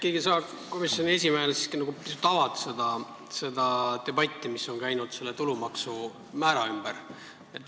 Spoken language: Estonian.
Äkki sa komisjoni esimehena pisut avad debatti, mis on käinud selle tulumaksu määra ümber.